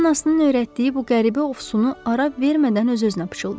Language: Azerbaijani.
O anasının öyrətdiyi bu qəribə ovsunu ara vermədən öz-özünə pıçıldadı.